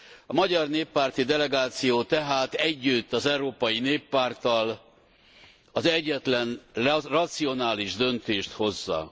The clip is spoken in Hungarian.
A magyar néppárti delegáció tehát együtt az Európai Néppárttal az egyetlen racionális döntést hozza.